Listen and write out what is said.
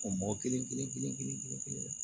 O mɔgɔ kelen kelen kelen kelen kelen kelen